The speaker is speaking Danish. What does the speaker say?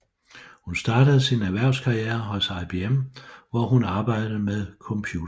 Hun startede sin erhvervskarriere hos IBM hvor hun arbejdede med computersystemer